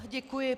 Děkuji.